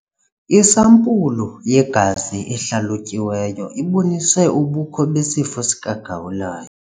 Isampulu yegazi ehlalutyiweyo ibonise ubukho besifo sikagawulayo.